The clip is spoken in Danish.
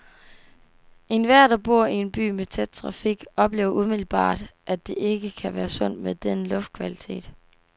Enhver, der bor i en by med tæt trafik, oplever umiddelbart, at det ikke kan være sundt med den luftkvalitet.